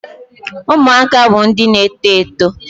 Ụmụaka bụ ndị na-eto eto.